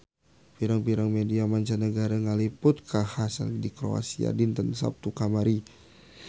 Pirang-pirang media mancanagara ngaliput kakhasan di Kroasia dinten Saptu kamari